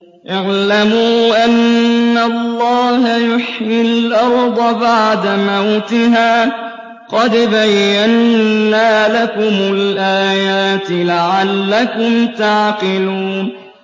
اعْلَمُوا أَنَّ اللَّهَ يُحْيِي الْأَرْضَ بَعْدَ مَوْتِهَا ۚ قَدْ بَيَّنَّا لَكُمُ الْآيَاتِ لَعَلَّكُمْ تَعْقِلُونَ